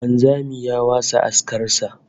Wanzami ya wasa askar sa